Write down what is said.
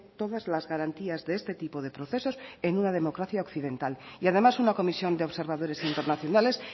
todas las garantías de este tipo de procesos en una democracia occidental y además una comisión de observadores internacionales